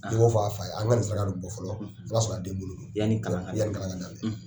I b'o fɔ a fa ye an ka ni saraka don bɔ fɔlɔ o y'a sɔrɔ a den bolo yan kalan ka minɛ